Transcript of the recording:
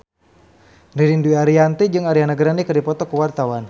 Ririn Dwi Ariyanti jeung Ariana Grande keur dipoto ku wartawan